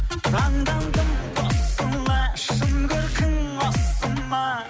таңдандым тосыла шын көркің осы ма